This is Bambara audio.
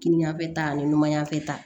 Kini ɲɛfɛ ta ani numanyafɛ ta